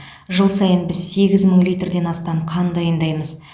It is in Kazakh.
жыл сайын біз сегіз мың литрден астам қан дайындаймыз